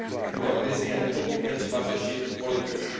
Tuto krizi je nepochybně třeba řešit politicky.